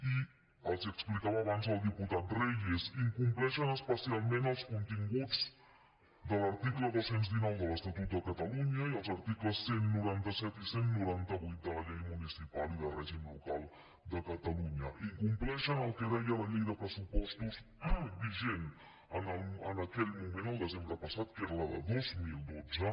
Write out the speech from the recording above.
i els ho explicava abans el diputat reyes incompleixen especialment els continguts de l’article dos cents i dinou de l’estatut de catalunya i els articles cent i noranta set i cent i noranta vuit de la llei municipal i de règim local de catalunya incompleixen el que deia la llei de pressupostos vigent en aquell moment el desembre passat que era la de dos mil dotze